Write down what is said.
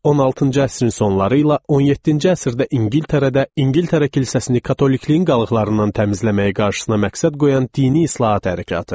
16-cı əsrin sonları ilə 17-ci əsrdə İngiltərədə, İngiltərə kilsəsini katolikliyin qalıqlarından təmizləməyi qarşısına məqsəd qoyan dini islahat hərəkatı.